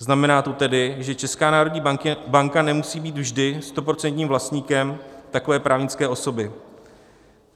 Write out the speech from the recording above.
Znamená to tedy, že Česká národní banka nemusí být vždy stoprocentním vlastníkem takové právnické osoby.